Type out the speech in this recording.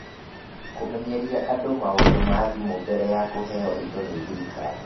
kũmenyeria andũ maũndũ ma thimũ mbere ya kũheo indo nĩ thirikari.